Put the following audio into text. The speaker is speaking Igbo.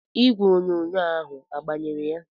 Igwe onyonyo ahu agbanyere ya?